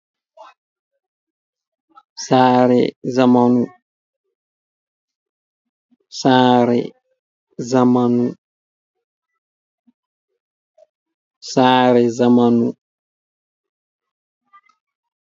Saare zamanu. Saare zamanu. Sare zamanu.